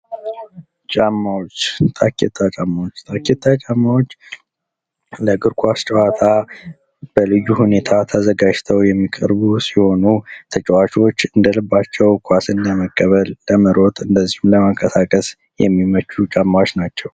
ጫማዎች ታኬታ ጫማዎች :- ታኬታ ጫማዎች ለእግር ኳስ ጨዋታ በልዩ ሁኔታ ተዘጋጅተዉ የሚቀርቡ ሲሆኑ ተጫዋቾች እንደልባቸዉ ኳስን ለመቀበል ለመሮጥ እንደዚሁም ለመቀሳቀስ የሚመቹ ጫማዎች ናቸዉ።